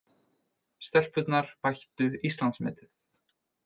Stelpurnar bættu Íslandsmetið